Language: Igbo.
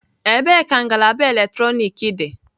Ebee ka ngalaba eletrọnịkị dị?